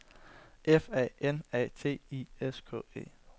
F A N A T I S K E